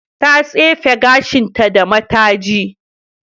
Ta tsefe gashinta da mataji.